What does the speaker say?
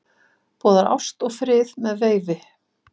Boðar ást og frið með veifi